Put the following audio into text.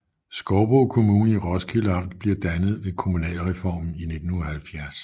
Skovbo Kommune i Roskilde Amt blev dannet ved kommunalreformen i 1970